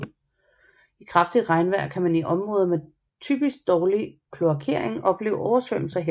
I kraftigt regnvejr kan man i områder med typisk dårlig kloakering opleve oversvømmelser her